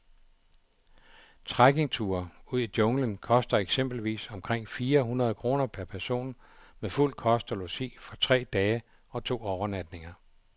Trekkingture ud i junglen koster eksempelvis omkring fire hundrede kroner per person med fuld kost og logi for tre dage og to overnatninger.